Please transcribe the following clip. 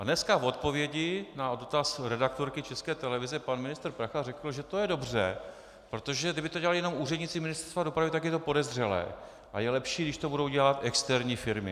A dneska v odpovědi na dotaz redaktorky České televize pan ministr Prachař řekl, že to je dobře, protože kdyby to dělali jenom úředníci Ministerstva dopravy, tak je to podezřelé a je lepší, když to budou dělat externí firmy.